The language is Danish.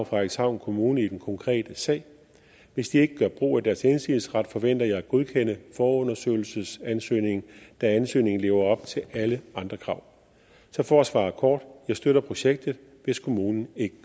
frederikshavn kommune i den konkrete sag hvis de ikke gør brug af deres indsigelsesret forventer jeg at godkende forundersøgelsesansøgningen da ansøgningen lever op til alle andre krav så for at svare kort jeg støtter projektet hvis kommunen ikke